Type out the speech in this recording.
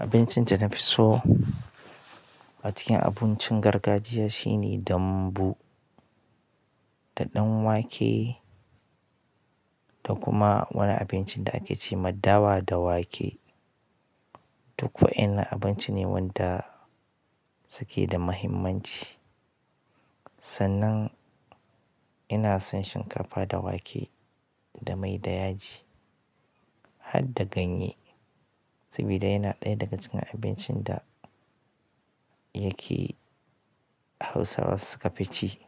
Abincin da na fi so a cikin abincin gargajiya shine dambu, da ɗan wake, da kuma wani abincin da ake ce ma dawa da wake. Duk wa'innan abinci ne wanda suke da muhimmanci. Sannan ina son shinkafa da wake da mai da yaji. Hadda ganye, sabida yana ɗaya daga cikin abincin da yake Hausawa suka fi ci.